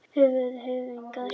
Höfuð og höfðingi.